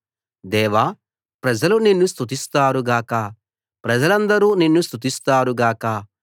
దేవా ప్రజలు నిన్ను స్తుతిస్తారు గాక ప్రజలందరు నిన్ను స్తుతిస్తారు గాక